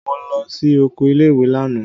Mo lọ sí oko ilé-ìwé lánàá.